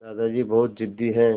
दादाजी बहुत ज़िद्दी हैं